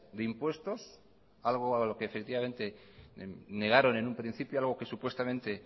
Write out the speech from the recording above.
de impuestos algo a lo que efectivamente negaron en un principio algo que supuestamente